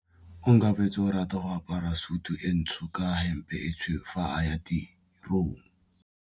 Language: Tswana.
Onkabetse o rata go apara sutu e ntsho ka hempe e tshweu fa a ya tirong.